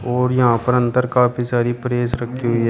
और यहां पर अंदर काफी सारी प्रेस रखी हुई है।